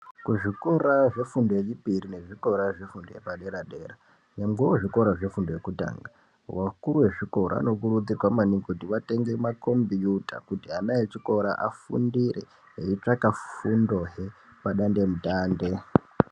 Kuzvikora zvefundo yechipiri nezvikora zvefundo yepadera-dera nyangwewo zvikora zvekutanga, vakuru vezvikora, vanokurudzirwa maningi kuti vatenge makhombiyuta kuti ana echikora afundire, eitsvaka kundohe pandandemutande.